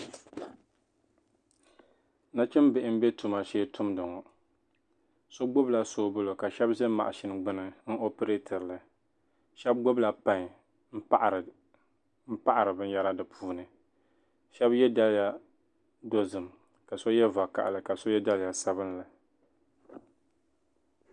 Nachimbihi bɛ tuma shee tumdi ŋɔ so gbubila shubili ka shɛba za maʒina gbuni n operatili shɛba gbubila payi paɣiri bɛ yehiri di puuni shɛba ye daliya dozim ka so ye vakahili ka so ye daliya sabinli.